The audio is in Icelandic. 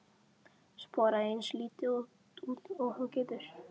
Sporaðu eins lítið út og þú getur.